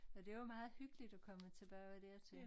Og det var meget hyggeligt at komme tilbage dertil